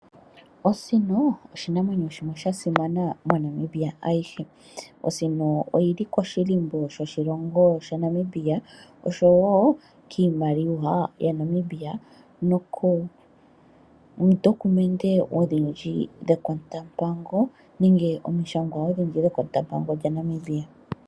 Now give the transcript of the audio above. Osino osho oshinamwenyo shimwe sha simana MoNamibia ayihe oshoka oyili koshilimbo shoshilongo shaNamibia oshowo kiimaliwa yaNamibia nokoondokumende odhindji dhekotampango nenge komishangwa odhindji dhekotampango lyaNamibia.